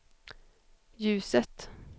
ljuset